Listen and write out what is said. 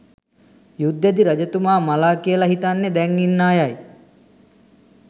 යුද්දෙදි රජතුමා මළා කියල හිතන්නෙ දැන් ඉන්න අයයි.